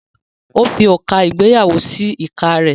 ó fi òrùka ìgbéyàwó sí ìka rẹ̀.